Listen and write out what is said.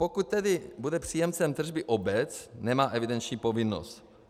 Pokud tedy bude příjemcem tržby obec, nemá evidenční povinnost.